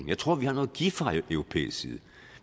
jeg tror vi har noget at give fra europæisk side